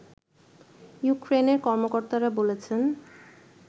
ইউক্রেনের কর্মকর্তারা বলছেন